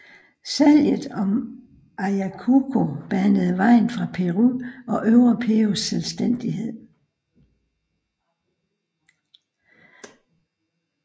Salget om Ayacucho banede vejen for Perus og Øvre Perus selvstændighed